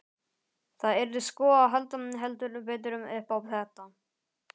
Það yrði sko að halda heldur betur upp á þetta!